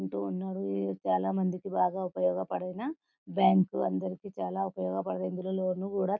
కుంటున్నారు ఇది చాలా మందికి బాగా ఉపయోగాపడిన బ్యాంకు అందరికి చాలా ఉపయోగపడిన ఇందిలో లోను కూడా --